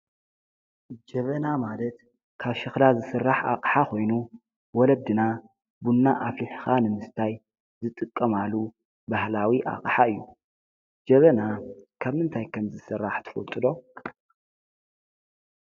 ጀበና ማለት ካብ ሸክላ ዝስራሕ ኣቅሓ ኾይኑ ወለድና ቡና ኣፍሊሕኻ ንምስታይ ዝጥቀማሉ ባህላዊ ኣቅሓ እዩ። ጀበና ካብ ምንታይ ከም ዝስራሕ ትፈልጡ ዶ?